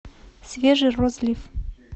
свежий розлив